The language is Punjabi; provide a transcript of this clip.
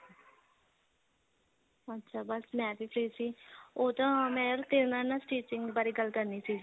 ਅੱਛਾ ਬੱਸ ਮੈਂ ਵੀ free ਸੀ ਉਹ ਤਾਂ ਮੈਂ ਤੇਰੇ ਨਾਲ ਨਾ stitching ਬਾਰੇ ਗੱਲ ਕਰਨੀ ਸੀ